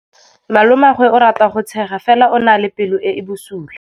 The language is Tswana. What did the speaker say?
Malomagwe o rata go tshega fela o na le pelo e e bosula.